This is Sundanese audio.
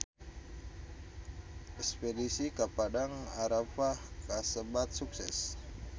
Espedisi ka Padang Arafah kasebat sukses